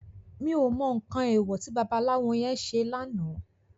Mi ó mò nkán éwò ti babalawo yèn sé làná